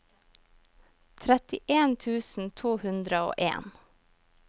trettien tusen to hundre og en